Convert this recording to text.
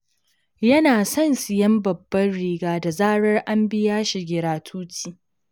Yana son siyan babban gida, da zarar an biya shi giratuti.